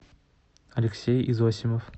алексей изосимов